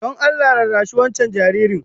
Don Allah rarrashi wancan jaririn